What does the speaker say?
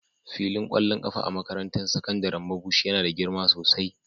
Filin kwallon kafa a makarantar sakandaren Mabushi yana da girma sosai.